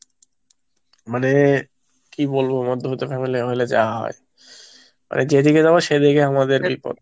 মানে, কি বলবো মধ্যবিত্ত family, হলে যা হয়, মানে যেদিকে যাব সেদিকে আমাদের বিপদ।